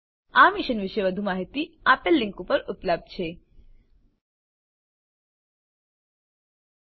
આ મિશન પર વધુ માહીતી આપેલ લીંક પર ઉપલબ્ધ છે જોવા બદ્દલ આભાર